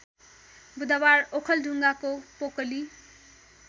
बुधवार ओखलढुङाको पोकली